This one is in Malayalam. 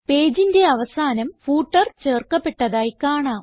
പേജിന്റെ അവസാനം ഫൂട്ടർ ചേർക്കപ്പെട്ടതായി കാണാം